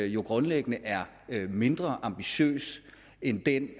jo grundlæggende er mindre ambitiøs end den